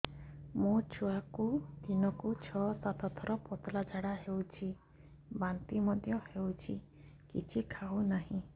ମୋ ଛୁଆକୁ ଦିନକୁ ଛ ସାତ ଥର ପତଳା ଝାଡ଼ା ହେଉଛି ବାନ୍ତି ମଧ୍ୟ ହେଉଛି କିଛି ଖାଉ ନାହିଁ